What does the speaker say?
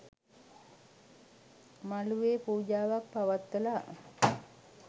මළුවේ පූජාවක් පවත්වලා